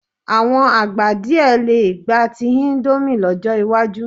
Àwọn àgbà díẹ̀ lè gba ti íńdómì lọ́jọ́ iwájú.